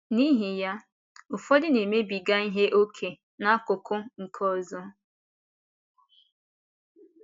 N’ihi ya, ụfọdụ na-emebiga ihe ókè n’akụkụ nke ọzọ.